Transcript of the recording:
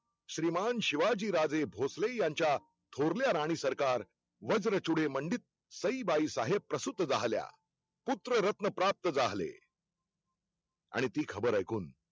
श्रीमान शिवाजीराजे भोसले यांच्या थोरल्या राणीसरकार वज्रचूडेमंडित सईबाईसाहेब प्रसूत झाल्या, पुत्ररत्न प्राप्त जाहले. आणि ती खबर ऐकून